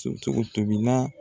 tobila.